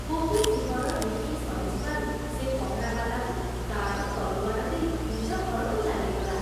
ଗୋପି ସିଂହର ଡିଉଟି ସରିଯିବାରୁ ସେ ପହରାବାଲାକୁ ତାର ତଲୁଆର ଦେଇ ନିଜ ଘରକୁ ଚାଲିଗଲା।